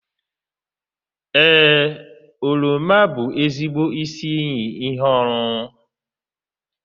Ee, oroma bụ ezigbo isi iyi ihe ọṅụṅụ.